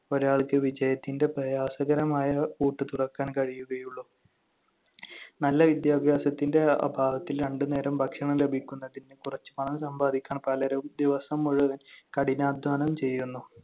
ഒരാൾക്ക് വിജയത്തിന്‍റെ പ്രയാസകരമായ പൂട്ട് തുറക്കാൻ കഴിയുകയുള്ളു. നല്ല വിദ്യാഭ്യാസത്തിന്‍റെ അഭാവത്തിൽ രണ്ടുനേരം ഭക്ഷണം ലഭിക്കുന്നതിന് കുറച്ച് പണം സമ്പാദിക്കാൻ പലരും ദിവസം മുഴുവൻ കഠിനാധ്വാനം ചെയ്യുന്നു.